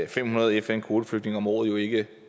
fem hundrede fn kvoteflygtninge om året jo ikke